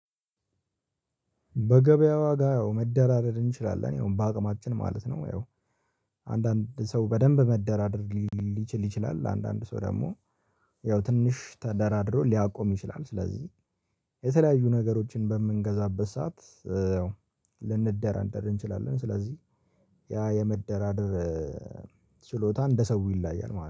በገበያው ዋጋ ያው መደራደር እንችላለን ያው በአቅማችን ማለት ነው። ያው አንዳንድ ሰው በደንብ መደራደር ሊችል ይችላል። አንዳንድ ሰው ደግሞ ያው ትንሽ ተደራድሮ ሊያቆም ይችላል። ስለዚህ የተለያዩ ነገሮችን በምንገዛበት ሰዓት ልንደራደር እንችላለን። ስለዚህ ያ የመደራደር ችሎታ እንደ ሰው ይለያያል ማለት ነው